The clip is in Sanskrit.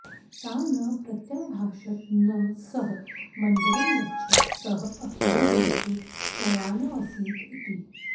सा न प्रत्याभाषत न सः मन्दिरमगच्छत् सः अखिले दिवसे शयानोऽसीत् इति